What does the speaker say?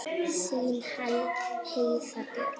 Þín Heiða Björg.